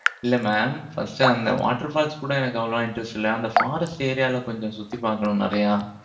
இல்லை mamfirst uh அந்த water falls கூட, எனக்கு அவ்வளவா interest இல்லை. அந்த forest area ல, கொஞ்சம் சுத்தி பார்க்கணும், நிறையா.